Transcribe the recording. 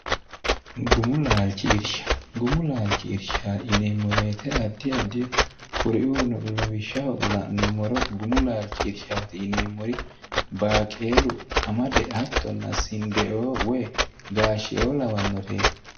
guuchishgumu laalchi irsha ineemmoweete addi adio kuriuuno lawishshaho la'nummoro gumu laalchi irshaati ineemmori baaqeelu qamade hattonna sindeoo woy gaashshieo lawannoreeti